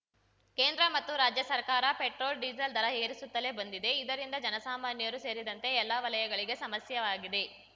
ಕೇಂದ್ರ ಮತ್ತು ರಾಜ್ಯ ಸರ್ಕಾರ ಪೆಟ್ರೋಲ್‌ಡೀಸೆಲ್‌ ದರ ಏರಿಸುತ್ತಲೇ ಬಂದಿವೆ ಇದರಿಂದ ಜನಸಾಮಾನ್ಯರು ಸೇರಿದಂತೆ ಎಲ್ಲ ವಲಯಗಳಿಗೆ ಸಮಸ್ಯೆವಾಗಿದೆ